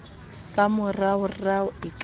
sa moraorao e ka ba